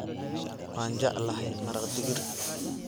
waan jeclahay maraq digir